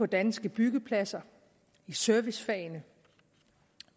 danske byggepladser i servicefagene